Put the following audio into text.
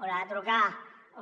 haurà de trucar